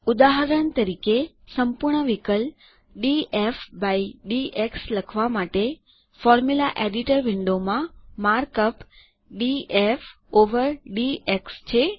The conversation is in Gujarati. ઉદાહરણ તરીકે સંપૂર્ણ વિકલ ડીએફ બાય ડીએક્સ લખવાં માટે સુત્ર સંપાદક વિન્ડો માં mark up DF over DX છે